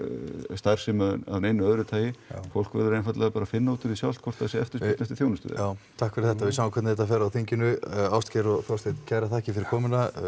starfsemi að neinu öðru tagi fólk verður einfaldlega bara að finna útúr því sjálft hvort það sé eftirspurn eftir þjónustu já takk fyrir þetta við sjáum hvernig þetta fer á þinginu ástgeir og Þorsteinn kærar þakkir fyrir komuna